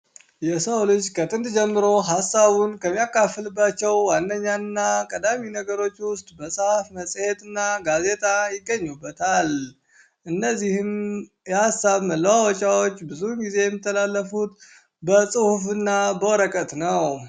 የሰው ልጅ ከጥንት ጀመሮ ሀሳቡን ከሚያካፍልባቸው ዋነኛና ቀዳሚ ነገሮች ውስጥ መፅሀፍ ፣መፅሄት እና ጋዜጣ ይገኙበታል ።እነዚህም የሀሳብ መለዋወጫወች ብዙውን ጊዜ የሚተላለፊት በፅሁፍ እና በወረቀት ነው።